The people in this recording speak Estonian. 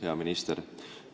Hea minister!